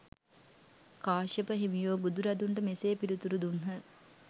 කාශ්‍යප හිමියෝ බුදුරදුන්ට මෙසේ පිළිතුරු දුන්හ.